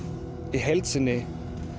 í heild sinni